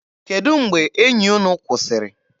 Kedụ mgbe enyi unu kwụsịrị?